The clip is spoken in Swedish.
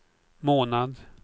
månad